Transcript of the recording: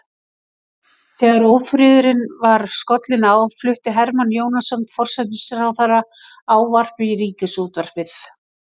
Þegar ófriðurinn var skollinn á flutti Hermann Jónasson forsætisráðherra ávarp í ríkisútvarpið.